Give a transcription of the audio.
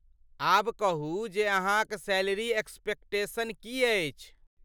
आब कहू जे अहाँक सैलरी एक्सपेक्टेशन की अछि?